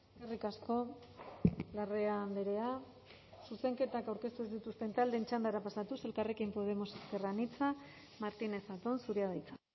eskerrik asko larrea andrea zuzenketak aurkeztu ez dituzten taldeen txandara pasatuz elkarrekin podemos ezker anitza martínez zatón zurea da hitza